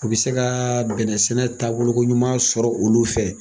U bɛ se kaaa bɛnɛ sɛnɛ taabolokoɲuman sɔrɔ olu fɛ.